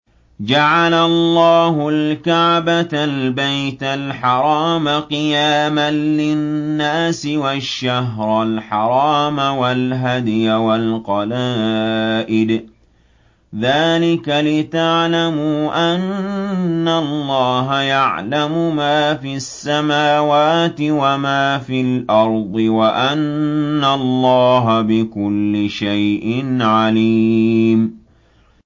۞ جَعَلَ اللَّهُ الْكَعْبَةَ الْبَيْتَ الْحَرَامَ قِيَامًا لِّلنَّاسِ وَالشَّهْرَ الْحَرَامَ وَالْهَدْيَ وَالْقَلَائِدَ ۚ ذَٰلِكَ لِتَعْلَمُوا أَنَّ اللَّهَ يَعْلَمُ مَا فِي السَّمَاوَاتِ وَمَا فِي الْأَرْضِ وَأَنَّ اللَّهَ بِكُلِّ شَيْءٍ عَلِيمٌ